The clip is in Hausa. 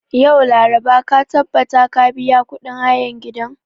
Yau, laraba, ka tabbata ka biya kudin hayan gidan.